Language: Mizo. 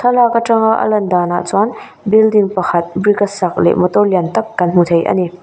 thlalak atanga a lan dan ah chuan building pakhat brick a sak leh motor lian tak kan hmu thei a ni.